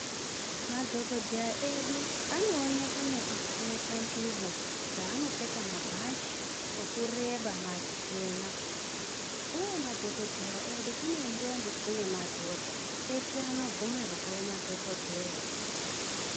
Madhokodheya edu anooneka nekupfeka ngubo dzanopfeka mabhachi okureba machena uye madhokodheya edu kune ndombi kune madhodha eshe anobvumirwa kuve madhokodheya.